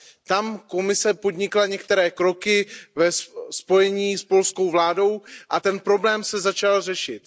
Tam Komise podnikla některé kroky ve spojení s polskou vládou a ten problém se začal řešit.